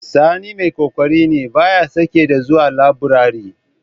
Sani mai ƙoƙari ne, ba ya sake da zuwa laburari.